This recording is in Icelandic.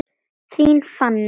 Þín, Fanney.